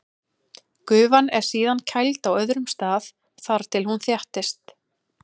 Gufan er síðan kæld á öðrum stað þar til hún þéttist.